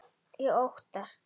Ég óttast.